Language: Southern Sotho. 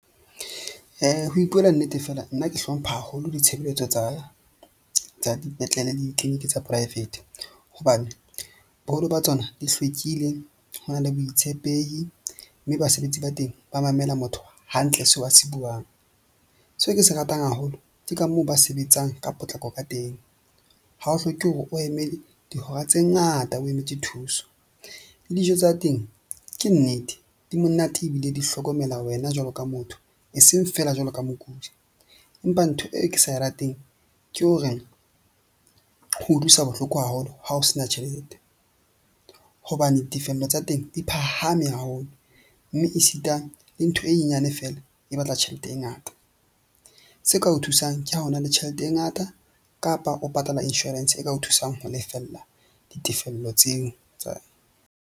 Ho ipuela nnete feela nna ke hlompha haholo ditshebeletso tsa dipetlele le di-clinic tsa private, hobane boholo ba tsona di hlwekile. Ho na le boitshepehi mme basebetsi ba teng ba mamela motho hantle seo a se buang. Seo ke se ratang haholo ke ka moo ba sebetsang ka potlako ka teng. Ha o hloke hore o eme dihora tse ngata, o emetse thuso le dijo tsa teng, ke nnete di monate ebile di hlokomela wena jwalo ka motho e seng feela jwalo ka mokudi. Empa ntho e ke sa e rateng ke hore ho utlwisa bohloko haholo. Ha o sena tjhelete hobane tefello tsa teng di phahame haholo. Mme e sita le ntho e nyenyane feela, e batla tjhelete e ngata. Se ka o thusang ke ha ho na le tjhelete e ngata kapa o patala insurance e ka o thusang ho lefella ditefello tseo tsa.